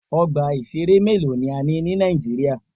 Ọgbà ìṣẹ̀rẹ́ mélòó ni a ní ní Nàíjíríà.